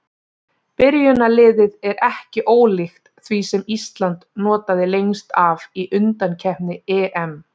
Byrjunarliðið er ekki ólíkt því sem Ísland notaði lengst af í undankeppni EM.